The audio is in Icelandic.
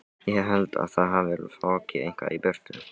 Ég held að það hafi fokið eitthvað í burtu.